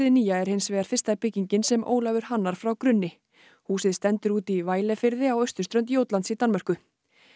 nýja er hinsvegar fyrsta byggingin sem Ólafur hannar frá grunni húsið stendur úti í á austurströnd Jótlands í Danmörku